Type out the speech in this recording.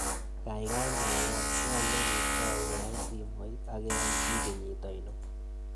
Kaigai mwawon ng'o ne ki tou koyai simoit ak eng' ki kenyit ainon